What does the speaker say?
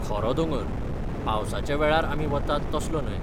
खरो दोंगर, पावसाच्या वेळार आमी वतात तसलो न्हय.